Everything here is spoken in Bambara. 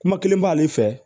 Kuma kelen b'ale fɛ